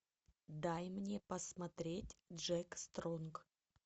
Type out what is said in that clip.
дай мне посмотреть джек стронг